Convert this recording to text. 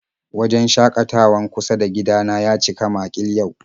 Wajen shakatawan kusa da gida na ya cika makil yau